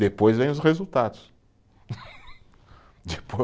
Depois vem os resultados.